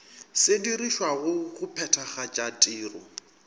se dirišwago go phethagatša tiro